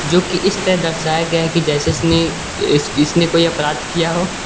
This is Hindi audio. जो की इस तरह दर्शाया गया है कि जैसे इसने इ इसने कोई अपराध किया हो।